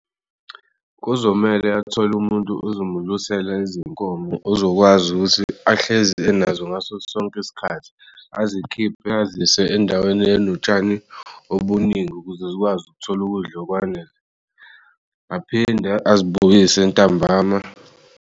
Kuzomele athole umuntu ozomlusela izinkomo ozokwazi ukuthi ahlezi enazo ngaso sonke isikhathi. Azikhiphe azise endaweni enotshani obuningi ukuze zikwazi ukuthola ukudla okwanele, aphinde azibuyise ntambama.